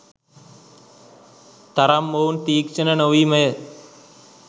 තරම් මොවුන් තීක්ෂණ නොවීමය.